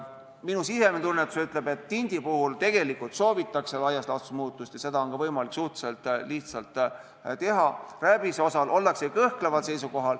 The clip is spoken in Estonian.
Minu sisemine tunnetus ütleb, et tindi puhul tegelikult soovitakse laias laastus muutust ja seda on ka võimalik suhteliselt lihtsalt teha, rääbise puhul ollakse kõhkleval seisukohal.